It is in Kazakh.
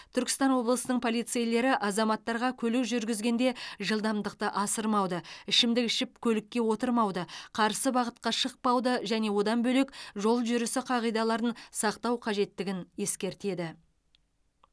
түркістан облысының полицейлері азаматтарға көлік жүргізгенде жылдамдықты асырмауды ішімдік ішіп көлікке отырмауды қарсы бағытқа шықпауды және одан бөлек жол жүрісі қағидаларын сақтау қажеттігін ескертеді